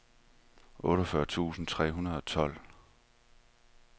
otteogfyrre tusind tre hundrede og tolv